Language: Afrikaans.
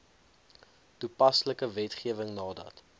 toepaslike wetgewing nadat